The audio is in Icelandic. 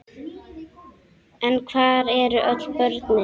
En hvar eru öll börnin?